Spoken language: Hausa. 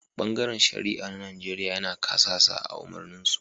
Bangaren shari'a na Nijeriya yana kasasa a' umarnin su.